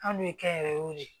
An n'u ye kɛnyɛrɛyew de